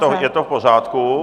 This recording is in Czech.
No, tak je to v pořádku.